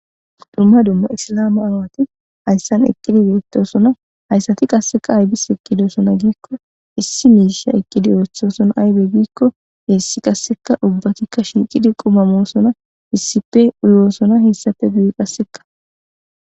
Duma duma isilama aawati haysan eqidi betosona haysati qase azis eqidona giko issi mishe eqidi othosona aybe gikko ubbatika shiqidi quma mosona issippe uyosona hesappe guye qaseka